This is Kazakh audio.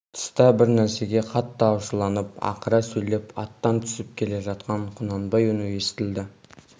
тыста бір нәрсеге қатты ашуланып ақыра сөйлеп аттан түсіп келе жатқан құнанбай үні естілді